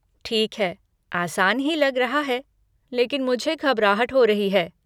ठीक है, आसान ही लग रहा है, लेकिन मुझे घबराहट हो रही है।